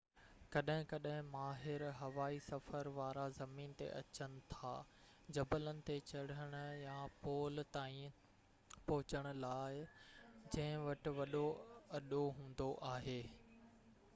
ڪڏهن ڪڏهن ماهر هوائي سفر وارا زمين تي اچن ٿا جبلن تي چڙهن يا پول تائين پهچڻ لاءِ جنهن وٽ وڏو اڏو هوندو آهي